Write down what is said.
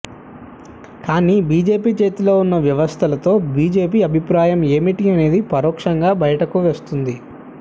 కానీ బీజేపీ చేతిలో ఉన్న వ్యవస్థలతో బిజెపి అభిప్రాయం ఏమిటి అనేది పరోక్షంగా బయటకు వస్తుంది